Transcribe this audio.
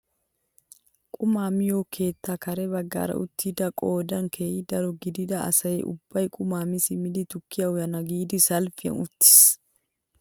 Qumaa miyoo keettaan kare baggaara uttida qoodan keehi daro gidida asaay ubbay qumaa mi simmidi tukkiyaa uyana giidi salppiyaan uttiis!